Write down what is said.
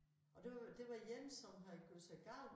Og det var det var én som havde gjort sig gal